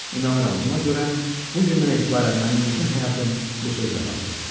İnanıram buna görə bu gündən etibarən mənim bütün həyatım bu sözlə bağlıdır.